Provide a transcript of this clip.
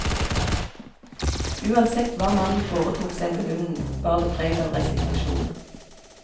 Uansett hva mannen foretok seg med hunden, bar det preg av resignasjon.